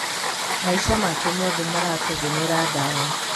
Maica make mothe marategemeera dawa.